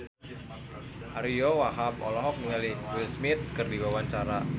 Ariyo Wahab olohok ningali Will Smith keur diwawancara